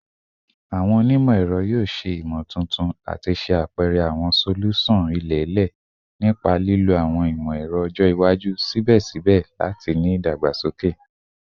Awọn onimọ-ẹrọ yoo ṣe imotuntun ati ṣe apẹrẹ awọn solusan ilẹ-ilẹ nipa lilo awọn imọ-ẹrọ ọjọ iwaju sibẹsibẹ lati ni idagbasoke